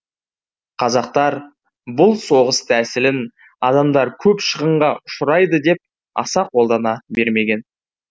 қазақтар бұл соғыс тәсілін адамдар көп шығынға ұшырайды деп аса қолдана бермеген